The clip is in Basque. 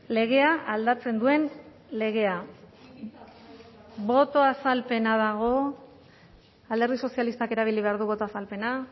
legea aldatzen duen legea boto azalpena dago alderdi sozialistak erabili behar du boto azalpena